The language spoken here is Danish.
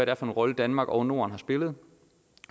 er for en rolle danmark og norden har spillet